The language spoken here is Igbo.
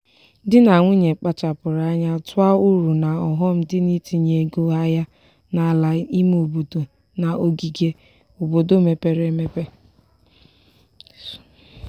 di na nwunye kpachapụrụ anya tụọ uru na ọghọm dị n'itinye ego ahịa n'ala ime obodo na ogige obodo mepere emepe.